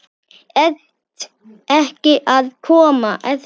Ert ekki að koma?